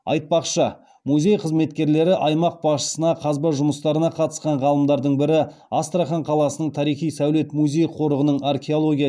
айтпақшы музей қызметкерлері аймақ басшысына қазба жұмыстарына қатысқан ғалымдардың бірі астрахан қаласының тарихи сәулет музей қорығының археология